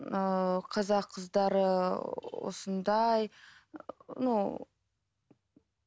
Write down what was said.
ыыы қазақ қыздары осындай ну